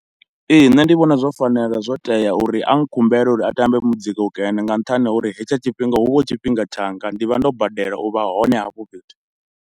Ee nṋe ndi vhona zwo fanela, zwo tea uri a nkhumbele uri a tambe muzika ukene nga nṱhani ho uri hetsho tshifhinga hu vha hu tshifhinga tshanga, ndi vha ndo badela u vha hone hafho fhethu.